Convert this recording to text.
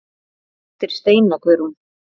Þín dóttir Steina Guðrún.